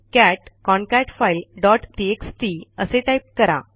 cat concat file dot TXT असे type करा